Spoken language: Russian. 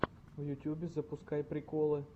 в ютубе запускай приколы